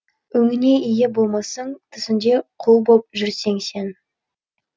өңіңе ие болмассың түсіңде құл боп жүрсең сен